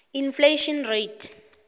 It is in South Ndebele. inflation rate